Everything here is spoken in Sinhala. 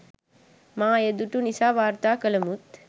මා එය දුටු නිසා වාර්තා කලමුත්